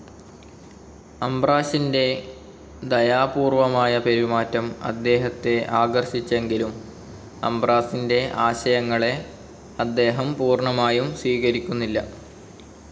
അംബ്രോഷിൻ്റെ ദയാപൂർവ്വമായ പെരുമാറ്റം അദ്ദേഹത്തെ ആകർഷിച്ചെങ്കിലും അംബ്രോസിൻ്റെ ആശയങ്ങളെ അദ്ദേഹം പൂർണമായും സ്വീകരിക്കുന്നില്ല.